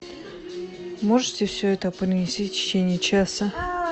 можете все это принести в течение часа